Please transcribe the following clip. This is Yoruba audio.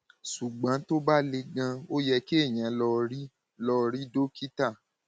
ṣùgbọn tó bá le ganan ó yẹ kéèyàn lọ rí lọ rí dókítà